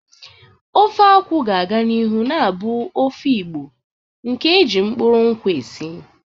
Ofe akwu ga-aga n'ihu na-abụ ofe Igbo nke e ji mkpụrụ nkwụ esi.